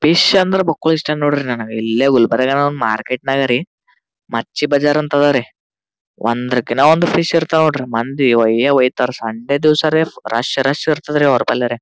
Fish ಅಂದ್ರೆ ಬುಕ್ಕುಳ ಇಷ್ಟ ನೋಡ್ರಿ ನನಗ ಇಲ್ಲೇ ಗುಲ್ಬರ್ಗಾದಾಗ್ ಮಾರ್ಕೆಟ್ನಲ್ಲಿ ರೀ ಮಚ್ಚಿ ಬಜಾರ್ ಅಂತ ಅಡರಿ ಒಂದ್ರಕ್ಕಿಂತ ಒಂಥ ಫಿಶ್ ಇರ್ತಾವ ನೋಡ್ರಿ ಮಂದಿ ಒಯೆ ಓಯ್ತಾರ ರೀ ಸಂಡೆ ದಿವ್ಸ ರೀ ರಶ್ ರಶ್ ಇರ್ತದ್ರಿಅವ್ರ್ ಬಲ್ಯರೇ.